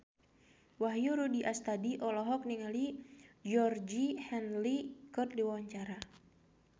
Wahyu Rudi Astadi olohok ningali Georgie Henley keur diwawancara